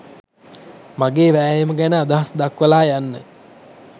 මගේ වෑයම ගැන අදහස් දක්වලා යන්න